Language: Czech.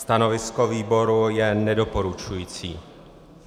Stanovisko výboru je nedoporučující.